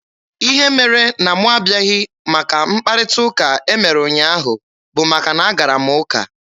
Ihe mere na mụ abịaghị maka mkparịta ụka e mere ụnyaahụ bụ maka na a gara m ụka.